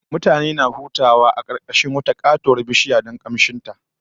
Wata karuwar bishiyar turare mutane ke hutawa a karkashin ta